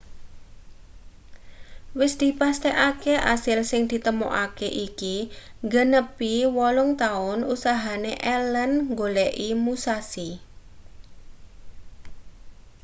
wis dipastekake asil sing ditemokake iki nggenepi wolung-taun usahane allen nggoleki musashi